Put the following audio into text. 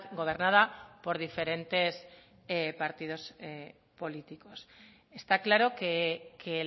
gobernada por diferentes partidos políticos está claro que